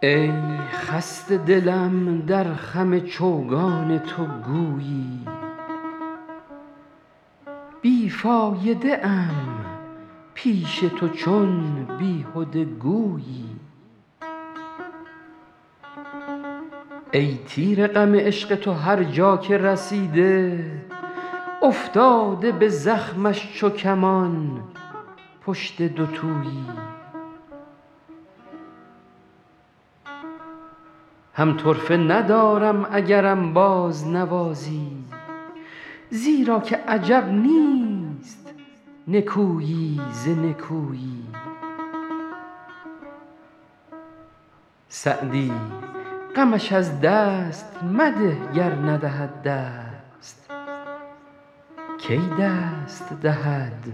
ای خسته دلم در خم چوگان تو گویی بی فایده ام پیش تو چون بیهده گویی ای تیر غم عشق تو هر جا که رسیده افتاده به زخمش چو کمان پشت دوتویی هم طرفه ندارم اگرم بازنوازی زیرا که عجب نیست نکویی ز نکویی سعدی غمش از دست مده گر ندهد دست کی دست دهد